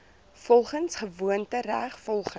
volgens gewoontereg volgens